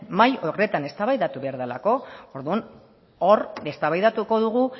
mahai horretan eztabaidatu behar delako orduan hor eztabaidatuko dugu